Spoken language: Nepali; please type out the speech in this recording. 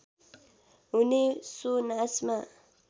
हुने सो नाचमा